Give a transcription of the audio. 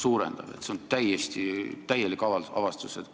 See on täielik avastus!